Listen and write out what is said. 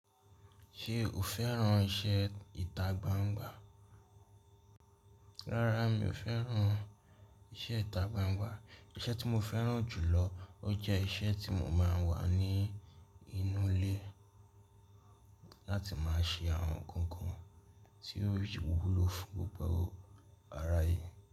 Ṣé o fẹ́ràn iṣẹ́ ìta gbangba? Rárá, mi ò fẹ́ràn iṣẹ́ ìta gbangba. Iṣẹ́ tí mo fẹ́ràn jùlọ, ó jẹ́ iṣẹ́ tí mo máa ń wà ní inú ilé láti máa ṣe àwọn nǹkan tí ó wúlò fún gbogbo ará ayé.